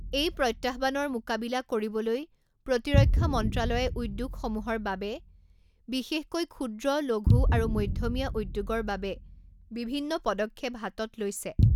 এই প্ৰত্যহ্বানৰ মোকাবিলা কৰিবলৈ প্ৰতিৰক্ষা মন্ত্ৰালয়ে উদ্যোগসমূহৰ বাবে, বিশেষকৈ ক্ষূদ্ৰ, লঘূ আৰু মধ্যমীয়া উদ্যোগৰ বাবে বিভিন্ন পদক্ষেপ হাতত লৈছে।